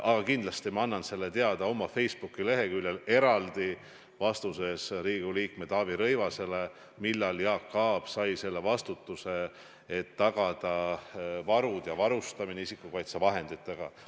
Aga kindlasti ma annan oma Facebooki leheküljel eraldi vastuses Riigikogu liikmele Taavi Rõivasele teada, millal Jaak Aab sai selle vastutuse, et tagada varustamine isikukaitsevahenditega.